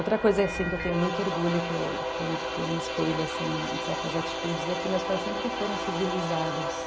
Outra coisa que eu tenho muito orgulho, que eu que eu me espelho em certas atitudes, é que meus pais sempre foram civilizados.